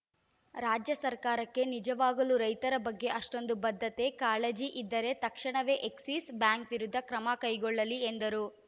ರಾಜ್ಯ ಸರ್ಕಾರಕ್ಕೆ ನಿಜವಾಗಲೂ ರೈತರ ಬಗ್ಗೆ ಅಷ್ಟೊಂದು ಬದ್ಧತೆ ಕಾಳಜಿ ಇದ್ದರೆ ತಕ್ಷಣವೇ ಎಕ್ಸಿಸ್‌ ಬ್ಯಾಂಕ್‌ ವಿರುದ್ಧ ಕ್ರಮ ಕೈಗೊಳ್ಳಲಿ ಎಂದರು